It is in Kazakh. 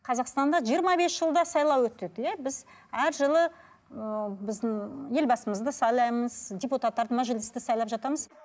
қазақстанда жиырма бес жылда сайлау өтеді иә біз әр жылы ыыы біздің елбасымызды сайлаймыз депуттарды мәжілісті сайлап жатамыз